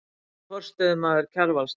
Er forstöðumaður Kjarvalsstaða.